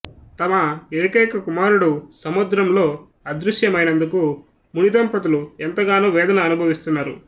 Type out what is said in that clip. తమ ఏకైక కుమారుడు సముద్రంలో అదృశ్యమైనందుకు ముని దంపతులు ఎంతగానో వేదన అనుభవిస్తున్నారు